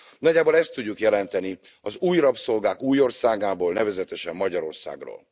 Nagyjából ezt tudjuk jelenteni az új rabszolgák új országából, nevezetesen Magyarországról.